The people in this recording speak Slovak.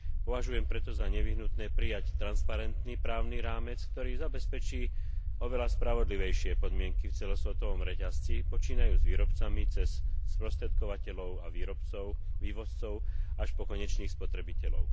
Považujem preto za nevyhnutné prijať transparentný právny rámec, ktorý zabezpečí oveľa spravodlivejšie podmienky v celosvetovom reťazci počínajúc výrobcami cez sprostredkovateľov a vývozcov až po konečných spotrebiteľov.